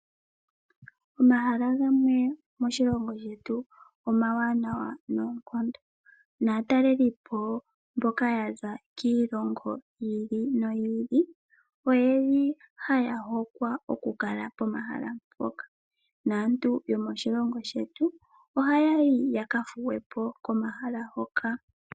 Omahala gamwe moshilongo shetu omawanawa noonkondo, naatalelipo mboka ya za kiilongo yi ili noyi ili ohaya hokwa okukala pomahala mpoka naantu yomoshilongo shetu ohaya yi ya ka thuwe po komahala hoka.